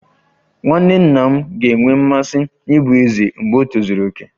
Nwanne nna m ga-enwe mmasị ịbụ eze mgbe o tozuru oke